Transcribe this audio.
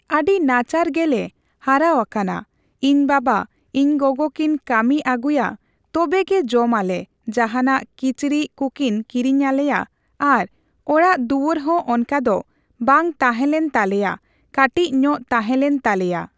ᱟᱹᱰᱤ ᱱᱟᱪᱟᱨ ᱜᱮᱞᱮ ᱦᱟᱨᱟᱣᱟᱠᱟᱱᱟ ᱤᱧ ᱵᱟᱵᱟ ᱤᱧ ᱜᱚᱜᱚ ᱠᱤᱱ ᱠᱟᱹᱢᱤ ᱟᱹᱜᱩᱭᱟ ᱛᱚᱵᱮ ᱜᱮ ᱡᱚᱢᱟᱞᱮ ᱡᱟᱦᱟᱱᱟᱜ ᱠᱤᱪᱨᱤᱡ ᱠᱩᱠᱤᱱ ᱠᱤᱨᱤᱧ ᱟᱞᱮᱭᱟ ᱟᱨ ᱚᱲᱟᱜ ᱫᱩᱣᱟᱹᱨ ᱦᱚᱸ ᱚᱱᱠᱟᱫᱚ ᱵᱟᱝ ᱛᱟᱦᱮᱸᱞᱮᱱ ᱛᱟᱞᱮᱭᱟ ᱠᱟᱹᱴᱤᱡ ᱧᱚᱜ ᱛᱟᱦᱮᱸ ᱞᱮᱱ ᱛᱟᱞᱮᱭᱟ᱾